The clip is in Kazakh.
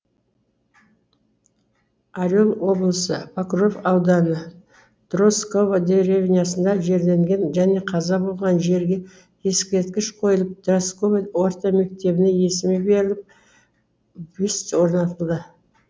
орел облысы покров ауданы дросково деревнясында жерленген және қаза болған жерге ескерткіш қойылып дросково орта мектебіне есімі беріліп бюст орнатылды